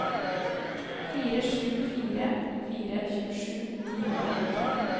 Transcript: fire sju fire fire tjuesju ni hundre og åtte